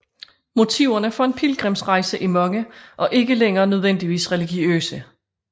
Motiverne for en pilgrimsrejse er mange og ikke længere nødvendigvis religiøse